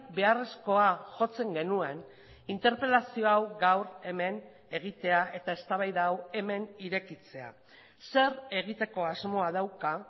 beharrezkoa jotzen genuen interpelazio hau gaur hemen egitea eta eztabaida hau hemen irekitzea zer egiteko asmoa dauka